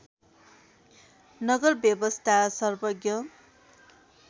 नगरव्वयस्था सर्वज्ञ